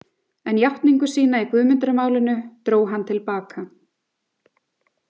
En játningu sína í Guðmundarmálinu dró hann til baka.